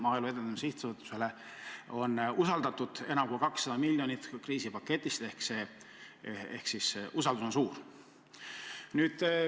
Maaelu Edendamise Sihtasutusele on usaldatud enam kui 200 miljonit kriisipaketist ehk siis see usaldus on suur.